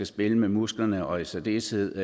spille med musklerne og i særdeleshed